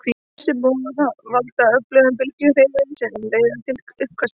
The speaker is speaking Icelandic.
Þessi boð valda öfugum bylgjuhreyfingunum sem leiða til uppkastanna.